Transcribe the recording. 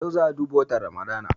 Yau za'a je duba watan Ramadan.